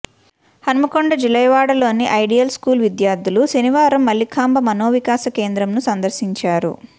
హన్మకొండ జులైవాడలోని ideal school విద్యార్థులు శనివారం మల్లికాంబ మనోవికాస కేంద్రంను సందర్శించారు